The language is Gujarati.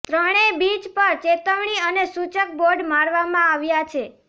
ત્રણેય બીચ પર ચેતવણી અને સૂચક બોર્ડ મારવામાં આવ્યા છે